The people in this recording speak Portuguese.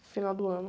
No final do ano.